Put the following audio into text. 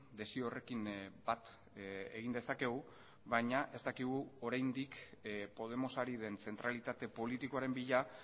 desio horrekin bat egin dezakegu baina ez dakigu oraindik podemos ari den zentralitate politikoaren bila